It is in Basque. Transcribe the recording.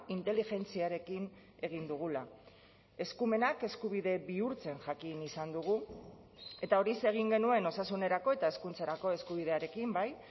inteligentziarekin egin dugula eskumenak eskubide bihurtzen jakin izan dugu eta horixe egin genuen osasunerako eta hezkuntzarako eskubidearekin bai